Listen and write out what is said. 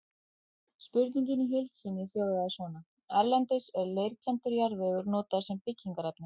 Spurningin í heild sinni hljóðaði svona: Erlendis er leirkenndur jarðvegur notaður sem byggingarefni.